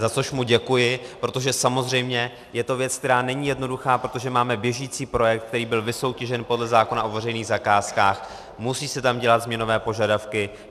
Za což mu děkuji, protože samozřejmě je to věc, která není jednoduchá, protože máme běžící projekt, který byl vysoutěžen podle zákona o veřejných zakázkách, musí se tam dělat změnové požadavky.